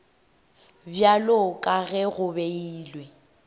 bjalo ka ge go beilwe